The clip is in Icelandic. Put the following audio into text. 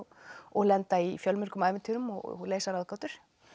og lenda í fjölmörgum ævintýrum og leysa ráðgátur